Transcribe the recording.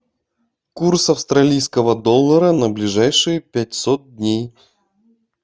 курс австралийского доллара на ближайшие пятьсот дней